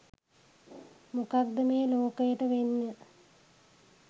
මොකක්ද මේ ලෝකයට වෙන්න